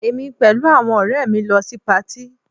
Èmi pẹ̀lú àwọn ọ̀rẹ́ mi lọ sí patí